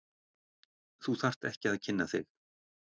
Þú þarft ekki að kynna þig.